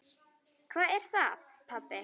Hvað er það, pabbi?